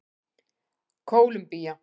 Kólumbía